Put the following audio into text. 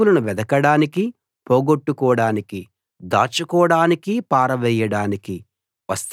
వస్తువులను వెదకడానికీ పోగొట్టుకోడానికీ దాచుకోడానికీ పారవేయడానికీ